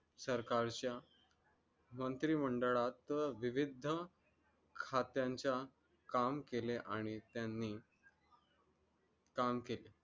प्रकारच्या मंत्रिमंडळात विविध खात्यांच्या काम केले आणि त्यांनी काम केले